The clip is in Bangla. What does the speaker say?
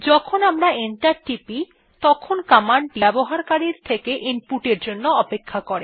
যখন আমরা এন্টার টিপি তখন কমান্ড টি ব্যবহারকারীর থেকে ইনপুটের জন্য অপেক্ষা করে